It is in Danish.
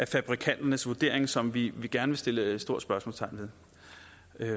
fabrikanternes vurdering som vi gerne vil sætte et stort spørgsmålstegn ved